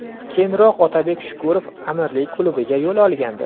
Keyinroq Otabek Shukurov Amirlik klubiga yo‘l olgandi.